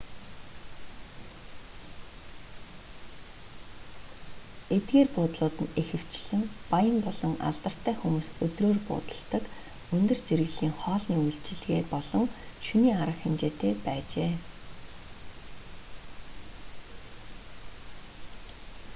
эдгээр буудлууд нь ихэвчлэн баян болон алдартай хүмүүс өдрөөр буудалладаг өндөр зэрэглэлийн хоолны үйлчилгээ болон шөнийн арга хэмжээтэй байжээ